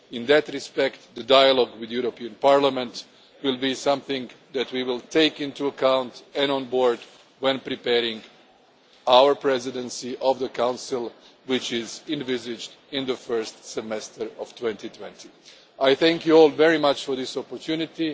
In that respect, dialogue with the European Parliament will be something that we will take into account and take on board when preparing our presidency of the Council, which is envisaged for the first semester of 2020. I thank you all very much for this opportunity.